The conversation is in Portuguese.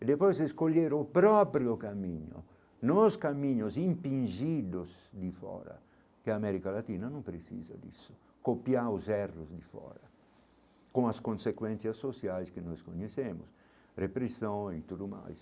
E depois escolher o próprio caminho, nos caminhos empingidos de fora, que a América Latina não precisa disso, copiar os erros de fora, com as consequências sociais que nós conhecemos, repressão e tudo mais.